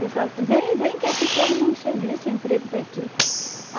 Pessoal, vem, vem que aqui tu arruma um serviço, um emprego para ti.